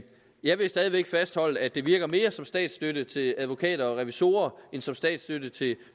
jeg vil stadig væk fastholde at det virker mere som statsstøtte til advokater og revisorer end som statsstøtte til